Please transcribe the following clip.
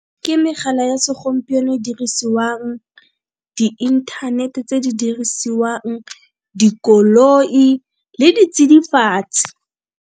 Ke megala ya segompieno e dirisiwang, di-internet tse di dirisiwang, dikoloi le ditsidifatsi.